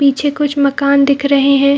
पीछे कुछ मकान दिख रहें हैं ।